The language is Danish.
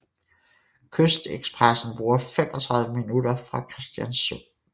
Kystekspressen bruger 35 minutter fra Kristiansund